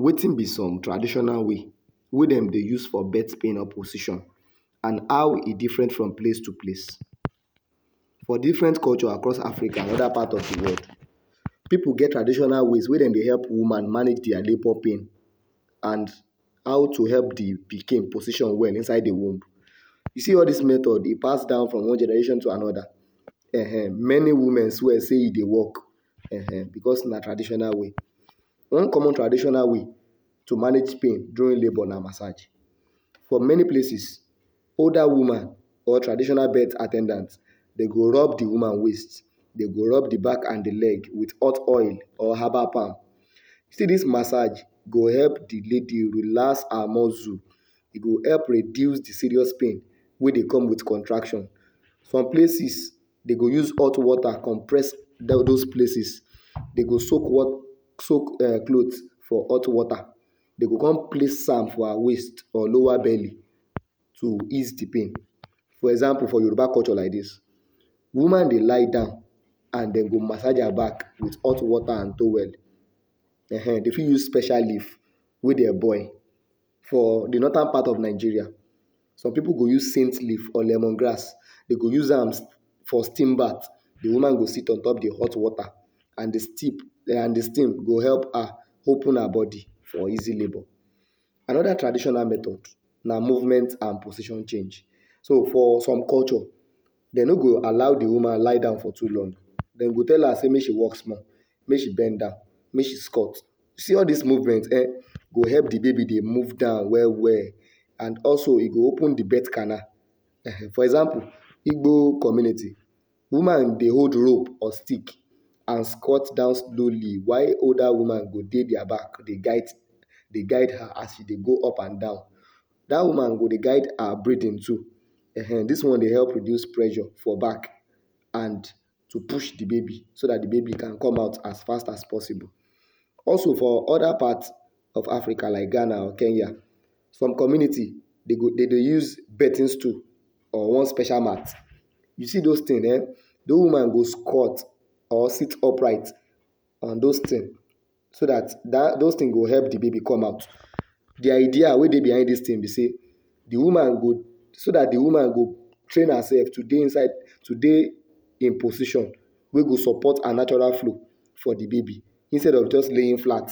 Wetin be some traditional way, wey dem dey use for birth pain or position and how e different from place to place. For different culture across Africa and other parts of the world, pipu get traditional ways wey dem dey help woman manage dia labour pain and how to help de pikin position well inside de womb. You see all dis method e pass down from different generation to another um many women swear sey e dey work um becos na traditional way. One common traditional way to manage pain during labour na massage. For many places older woman or traditional birth at ten dant go rub de woman waist, dey go rub de back and with hot oil or herbal palm. See dis massage go help de lady relax her muscle, e go help reduce de serious pain ey dey come with contraction. Some places dey go use hot water compress de dose places, dey go soak cloth for hot water dey go come place am for her waist or lower belly to ease de pain. For example, for Yoruba culture like dis, woman dey lie down and dey go massage her back with hot water and towel um dey fit use special leaves for de northern part of Nigeria, some pipu go use scent leaves or lemon grass dey go use am steam bath. De woman go sit on top de hot water and de steam and de steam go help her open her bodi for easy labour. Another traditional method na, movement and position change. So for some culture, dey no go allow de woman lie down for too long. Dem go tell her sey make she walk small, make she bend down, make she squat. See as movement go help de baby move down well well and also e go open de birth canal for example igbo community, woman dey hold rope or stick and squat down slowly, while older woman go gey dia back dey guide dey guide her as she dey go up and down, dat woman go dey guide her breathing too um dis one dey help reduce pressure for back and push de baby so dat de baby can come out as fast as possible. Also for other part of Africa like ghana or kenya, some community dem dey use birthing stools or one special mat. You see those things um those woman do squat or sit upright on those things so dat those things go help de baby come out. De idea wey dey behind dis thing be sey d woman go so dat de woman go train herself to dey inside to dey in position wey go support her natural flow for de baby instead of just laying flat